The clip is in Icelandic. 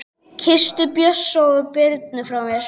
Kysstu Bjössa og Birnu frá mér.